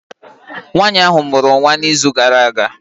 Nwanyị ahụ mụrụ nwa n'izu gara aga